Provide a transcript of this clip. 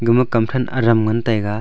gama kam thang adam ngan tega.